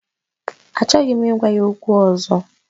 Achọghị m ịgwa ya okwu ọzọ